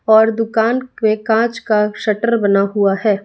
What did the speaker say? और दुकान पे कांच का शटर बना हुआ है।